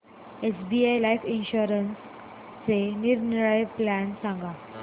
SBI life इन्शुरन्सचे निरनिराळे plan सांग